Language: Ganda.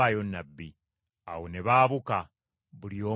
Awo ne baabuka, buli omu n’addayo eka.